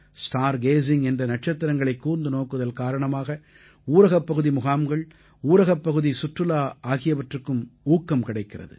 star gazing என்ற நட்சத்திரங்களைக் கூர்ந்து நோக்குதல் காரணமாக ஊரகப்பகுதி முகாம்கள் ஊரகப்பகுதிச் சுற்றுலா ஆகியவற்றுக்கும் ஊக்கம் கிடைக்கிறது